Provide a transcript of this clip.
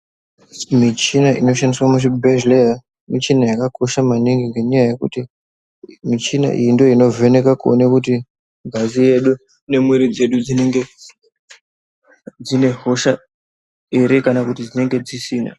Michina inoshandiswa muzvibhedhleya michina yakakosha maningi ngenyaya yekuti michina iyi ndooinovheka kuone kuti ngazi yedu nemwiiri dzedu dzinenge dzine hosha here kana kuti dzinenge dzisina.